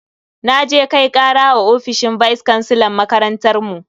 Naje Kai kara a ofishin vice kansilan makarantar mu.